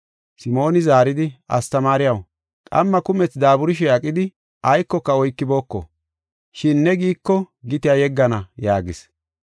Simooni zaaridi, “Astamaariyaw, qamma kumethi daaburishe aqidi aykoka oykibooko, shin ne giiko gitiya yeggana” yaagis.